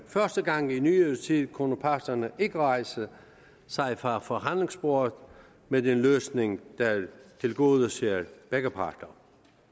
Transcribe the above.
første gang i nyere tid kunne parterne ikke rejse sig fra forhandlingsbordet med en løsning der tilgodeser begge parter